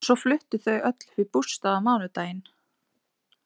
Svo fluttu þau öll upp í bústað á mánudaginn.